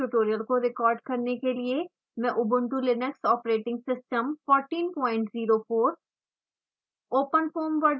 इस ट्यूटोरियल को रिकॉर्ड करने के लिए मैं ऊबंटु लिनक्स ऑपरेटिंग सिस्टम 1404